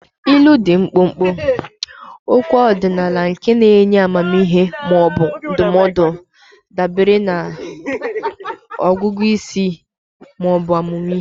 Ilu dị mkpụmkpụ, okwu ọdịnala nke na-enye amamihe ma ọ bụ ndụmọdụ dabere na ọgụgụ isi ma ọ bụ ahụmịhe.